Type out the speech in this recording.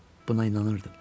Buna inanırdım.